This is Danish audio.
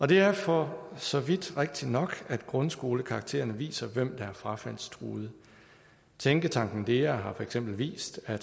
det er for så vidt rigtigt nok at grundskolekaraktererne viser hvem der er frafaldstruede tænketanken dea har for eksempel vist at